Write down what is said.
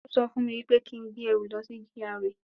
Ó sọ fún mi wípé kí n gbé ẹrù lọ sí GRA